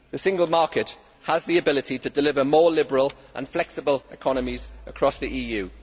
The single market has the ability to deliver more liberal and flexible economies across the EU.